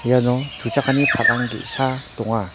iano tuchakani palang ge·sa donga.